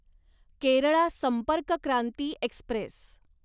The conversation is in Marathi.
केरळा संपर्क क्रांती एक्स्प्रेस